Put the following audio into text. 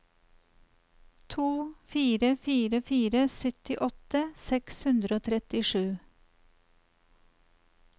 to fire fire fire syttiåtte seks hundre og trettisju